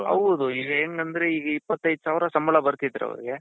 ಹೌದು ಇದು ಹೆಂಗಂದ್ರೆ ಈಗ ಇಪ್ಪತ್ತೈದ್ ಸಾವಿರ ಸಂಬಳ ಬರ್ತಿದ್ರೆ ಅವರಿಗೆ